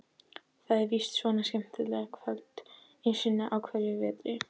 Það er víst svona skemmtikvöld einu sinni á hverjum vetri.